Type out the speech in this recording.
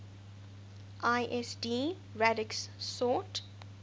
lsd radix sort